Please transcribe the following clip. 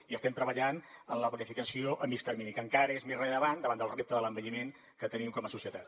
i estem treballant en la planificació a mitjà termini que encara és més rellevant davant del repte de l’envelliment que tenim com a societat